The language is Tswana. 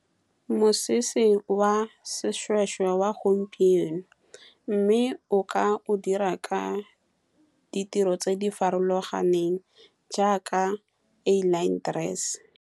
Mosese wa seshweshwe wa gompieno, mme o ka o dira ka di tiro tse di farologaneng, jaaka A-line dress.